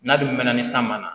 N'a dun mɛnna ni san ma na